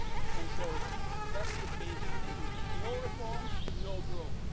And so that's the basic thing no reforms, no growth.